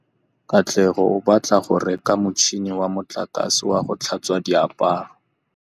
Katlego o batla go reka motšhine wa motlakase wa go tlhatswa diaparo.